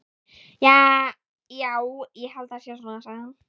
Já, ég held það sé svona, sagði hann.